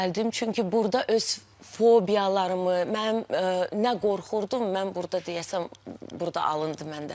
Çünki burda öz fobiyalarımı, mənim nə qorxurdum, mən burda deyəsən burda alındı məndə.